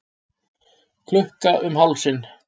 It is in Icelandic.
Klukka um hálsinn.